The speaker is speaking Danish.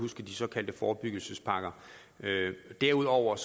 huske de såkaldte forebyggelsespakker derudover